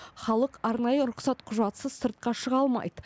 халық арнайы рұқсат құжатсыз сыртқа шыға алмайды